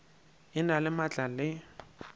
e na le maatla le